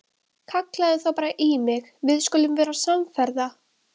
Kallaðu þá bara í mig og við skulum vera samferða!